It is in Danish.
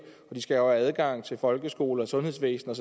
de skal have adgang til folkeskole og sundhedsvæsen